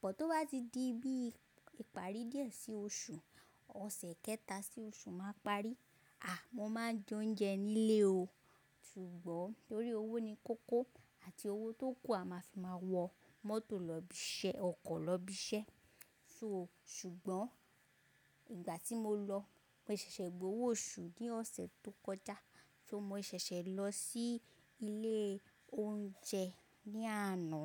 Bọ̀ tó bá ti di bí i ìparí díẹ̀ sí oṣù, ọ̀sẹ̀ kẹta sí oṣù máa parí, à mo máa jẹ oúnjẹ nílé o, ṣùgbọ́n torí owó ni kókó àti owó tó kù a máa fi máa wọ mọ́tò lọ ibi iṣẹ́, ọkọ̀ lọ ibi iṣẹ́. So ṣùgbọ́n ìgbà tí mo lọ mo ṣẹ̀ṣẹ̀ gbé owó oṣù ní ọ̀sẹ̀ tó kọjá, ṣo mo ṣẹ̀ṣẹ̀ lọ sí ilé oúnjẹ ní àná.